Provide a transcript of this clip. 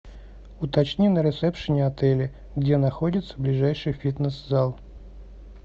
уточни на ресепшене отеля где находится ближайший фитнес зал